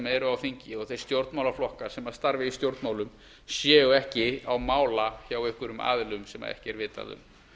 eru á þingi og þeir stjórnmálaflokkar sem starfa í stjórnmálum séu ekki á mála hjá einhverjum aðilum sem ekki er vitað um